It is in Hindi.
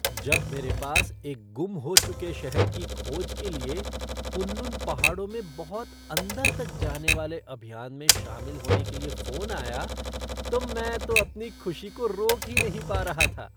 जब मेरे पास एक गुम हो चुके शहर की खोज के लिए कुन लुन पहाड़ों में बहुत अंदर तक जाने वाले अभियान में शामिल होने के लिए फ़ोन आया तो मैं तो अपनी खुशी को रोक ही नहीं पा रहा था।